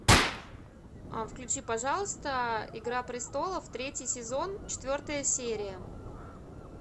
включи пожалуйста игра престолов третий сезон четвертая серия